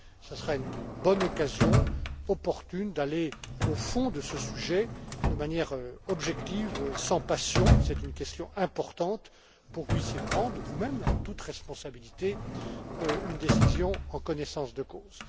Ce sera une bonne occasion d'aller au fond de ce sujet de manière objective, sans passion c'est une question importante pour que vous puissiez prendre vous même, en toute responsabilité, une décision en connaissance de cause.